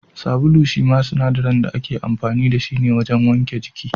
Sabulu shine sinadarin da ake amfani da shi wajen wanke jiki